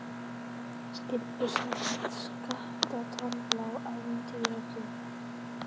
skyldu samkvæmt skatta-, tolla- og atvinnulöggjöf.